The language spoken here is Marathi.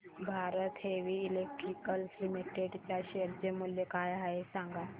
भारत हेवी इलेक्ट्रिकल्स लिमिटेड च्या शेअर चे मूल्य काय आहे सांगा